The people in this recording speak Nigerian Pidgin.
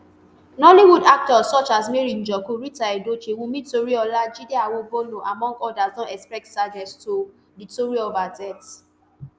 nollywood actors such as mary njoku rita edochie wunmi toriola jide awobona among odas don express sadness to di tori of her death